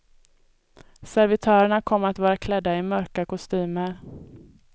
Servitörerna kommer att vara klädda i mörka kostymer.